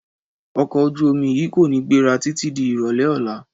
Ọkọ̀ ojú-omi yìí kò ní gbéra títí di ìrọ̀lẹ́ ọ̀la